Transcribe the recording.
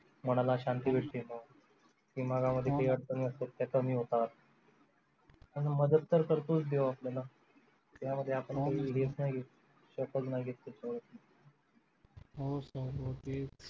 मनाला शांती भेटते मनामध्ये जे अडचणी असतात ते कमी होतात आणि मदत तर करतोस देव आपल्याला त्यामध्ये आपण कधी हो sir हो